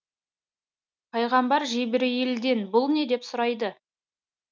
пайғамбар жебірейілден бұл не деп сұрайды